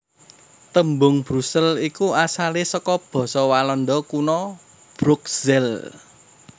Tembung Brusel iku asalé saka basa Walanda Kuna Broekzele